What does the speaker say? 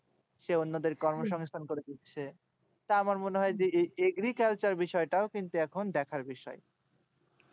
সে অন্যদের কর্মসংস্থান করে দিচ্ছে তা আমার মনে হয় agriculture বিষয় টাও এখন দেখার বিষয়